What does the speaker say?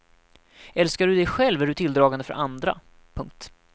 Älskar du dig själv är du tilldragande för andra. punkt